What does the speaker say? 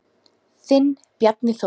Þinn Bjarni Þór.